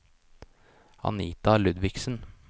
Anita Ludvigsen